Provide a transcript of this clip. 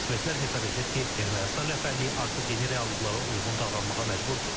Ekspertlər hesab edir ki, Ermənistan rəhbərliyi artıq yeni reallıqlara uyğun davranmağa məcburdur.